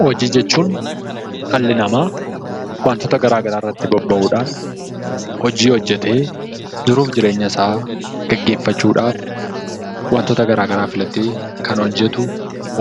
Hojii jechuun dhalli namaa waantota garaa garaa irratti bobba'uudhaan hojii hojjetee jiruu fi jireenya isaa gaggeeffachuudhaaf hojjetu